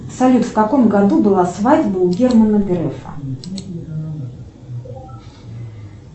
салют в каком году была свадьба у германа грефа